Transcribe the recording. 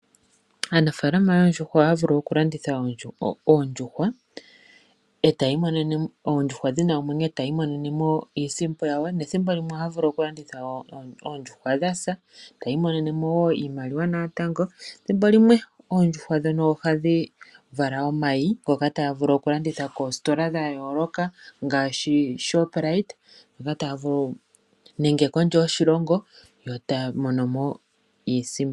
Aanafaalama yoondjuhwa ohaya vulu oku landitha oondjuhwa dhina omwenyo etaya imonenemo iisimpo yawo nethimbo limwe ohaya vulu oku landitha oondjuhwa dhasa taya imonenemo woo iimaliwa natango. Ethimbolimwe oondjuhwa ohadhi vala omayi ngono taga vulu oku landithwa koositola dha yooloka ngaaashi Shoprite nenge kondje yoshilongo yo taya monomo iisimpo.